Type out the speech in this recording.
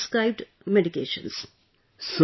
I started the prescribed medication